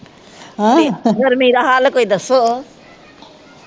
ਗਰਮੀ ਦਾ ਹਲ ਕੋਈ ਦਸੋ